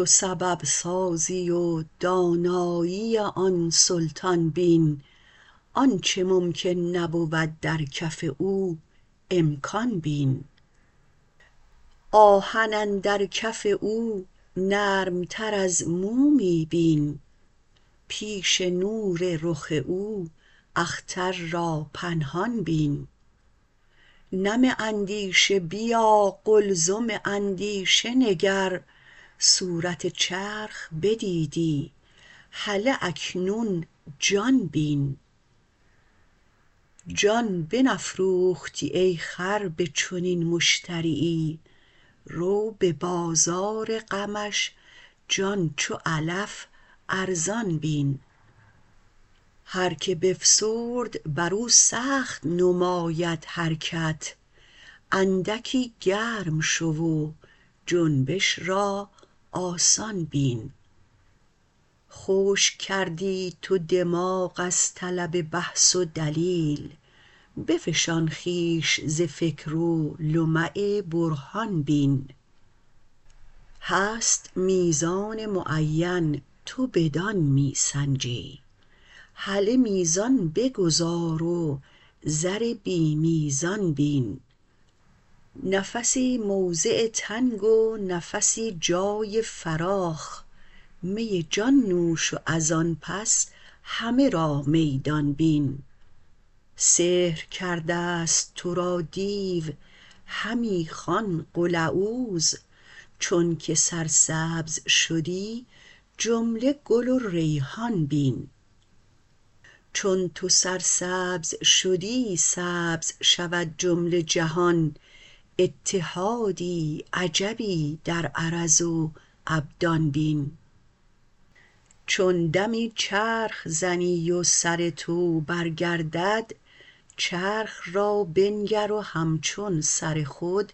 تو سبب سازی و دانایی آن سلطان بین آنچ ممکن نبود در کف او امکان بین آهن اندر کف او نرمتر از مومی بین پیش نور رخ او اختر را پنهان بین نم اندیشه بیا قلزم اندیشه نگر صورت چرخ بدیدی هله اکنون جان بین جان بنفروختی ای خر به چنین مشتریی رو به بازار غمش جان چو علف ارزان بین هر کی بفسرد بر او سخت نماید حرکت اندکی گرم شو و جنبش را آسان بین خشک کردی تو دماغ از طلب بحث و دلیل بفشان خویش ز فکر و لمع برهان بین هست میزان معینت و بدان می سنجی هله میزان بگذار و زر بی میزان بین نفسی موضع تنگ و نفسی جای فراخ می جان نوش و از آن پس همه را میدان بین سحر کرده ست تو را دیو همی خوان قل اعوذ چونک سرسبز شدی جمله گل و ریحان بین چون تو سرسبز شدی سبز شود جمله جهان اتحادی عجبی در عرض و ابدان بین چون دمی چرخ زنی و سر تو برگردد چرخ را بنگر و همچون سر خود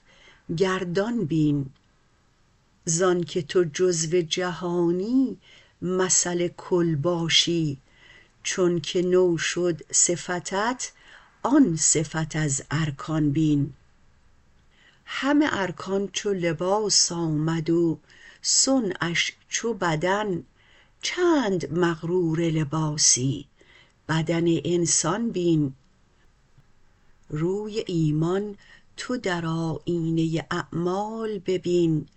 گردان بین ز آنک تو جزو جهانی مثل کل باشی چونک نو شد صفتت آن صفت از ارکان بین همه ارکان چو لباس آمد و صنعش چو بدن چند مغرور لباسی بدن انسان بین روی ایمان تو در آیینه اعمال ببین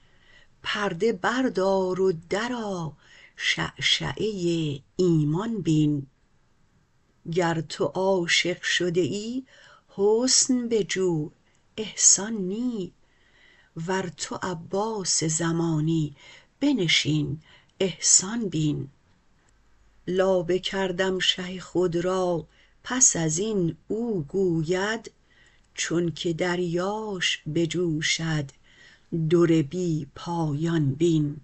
پرده بردار و درآ شعشعه ایمان بین گر تو عاشق شده ای حسن بجو احسان نی ور تو عباس زمانی بنشین احسان بین لابه کردم شه خود را پس از این او گوید چونک دریاش بجوشد در بی پایان بین